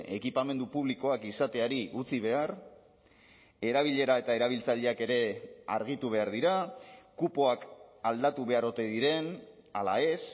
ekipamendu publikoak izateari utzi behar erabilera eta erabiltzaileak ere argitu behar dira kupoak aldatu behar ote diren ala ez